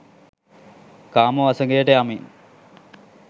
කාම වසඟයට යමින්